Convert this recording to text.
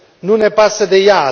Nu ne pasă de ea!,